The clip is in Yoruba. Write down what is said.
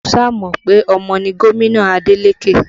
Mo sá mọ pe ọmọ ni gomina Adeleke